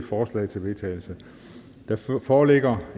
forslag til vedtagelse der foreligger